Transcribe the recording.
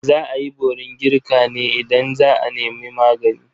Za a yi borin girka ne idan za a nemi magani.